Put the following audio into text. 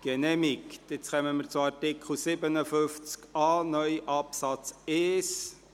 Nun kommen wir zu Artikel 57a (neu) Absatz 1.